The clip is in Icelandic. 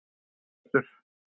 Sigurbjartur